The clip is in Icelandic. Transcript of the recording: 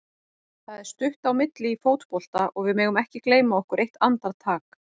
Það er stutt á milli í fótbolta og við megum ekki gleyma okkur eitt andartak.